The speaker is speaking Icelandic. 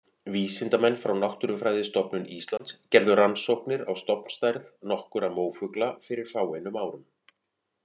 Vísindamenn frá Náttúrufræðistofnun Íslands gerðu rannsóknir á stofnstærð nokkurra mófugla fyrir fáeinum árum.